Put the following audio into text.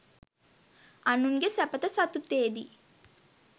අනුන්ගේ සැපත සතුටේදී